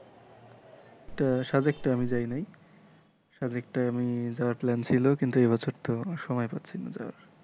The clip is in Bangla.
একটা আমি জানি নাই এ আমি যাওয়ার plan ছিলো কিন্তু এবছর তো সময় পাচ্ছিনা যে,